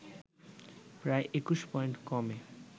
প্রায় ২১ পয়েন্ট কমে